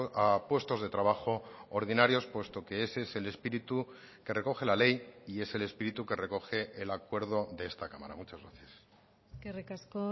a puestos de trabajo ordinarios puesto que ese es el espíritu que recoge la ley y es el espíritu que recoge el acuerdo de esta cámara muchas gracias eskerrik asko